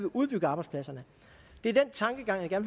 udbygget arbejdspladserne det er den tankegang jeg